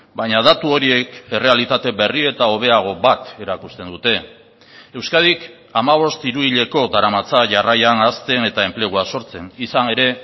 baina datu horiek errealitate berri eta hobeago bat erakusten dute euskadik hamabost hiruhileko daramatza jarraian hazten eta enplegua sortzen izan ere